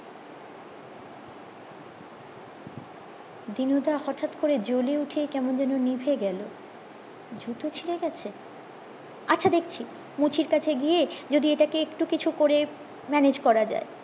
দিনু দা হটাৎ করে জ্বলে উঠে কেমন যেন নিভে গেলো জুতো ছিড়ে গেছে আচ্ছা দেখছি মুচির কাছে গিয়ে যদি এটাকে একটু কিছু করে ম্যানেজ করা যায়